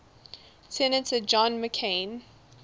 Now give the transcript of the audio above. senator john mccain